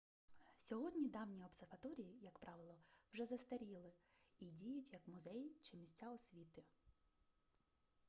сьогодні давні обсерваторії як правило вже застаріли й діють як музеї чи місця освіти